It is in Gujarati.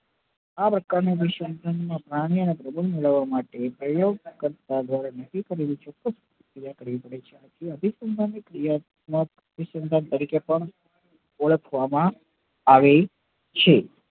આ પ્રકાર ના અનુસંધાન માં પ્રાણી ના તરીકે પણ ઓળખવા માં આવી છે